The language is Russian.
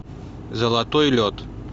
золотой лед